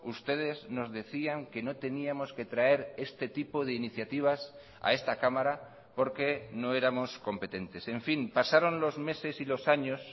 ustedes nos decían que no teníamos que traer este tipo de iniciativas a esta cámara porque no éramos competentes en fin pasaron los meses y los años